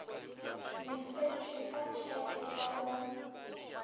lefetšwe ka tšheke ka mo